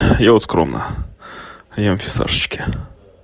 я вот скромно ем фисташечки